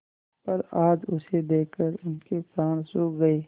पर आज उसे देखकर उनके प्राण सूख गये